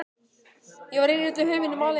Ég var ein í öllum heiminum, alein.